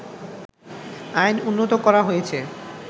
আইন উন্নত করা হয়েছে